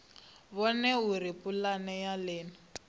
vhone uri pulane ya nila